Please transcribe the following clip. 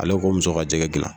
Ale ko muso ka jɛgɛ dilan